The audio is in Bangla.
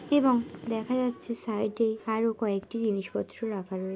এবং দেখা যাচ্ছে সাইডে আরো কয়েকটি জিনিস পত্র রাখা রয়েছে --